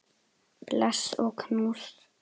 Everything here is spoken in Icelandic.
Bless og knús.